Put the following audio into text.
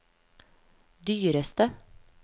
dyreste